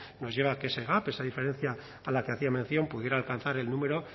nos lleva a que esa diferencia a la que hacía mención pudiera alcanzar el número